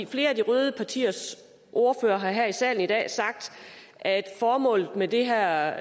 flere af de røde partiers ordførere har her i salen i dag sagt at formålet med det her